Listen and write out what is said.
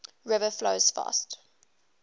river flows fast